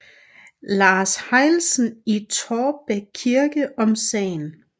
Lars Heilesen i Taarbæk Kirke om sagen